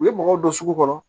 U ye mɔgɔw don sugu kɔnɔ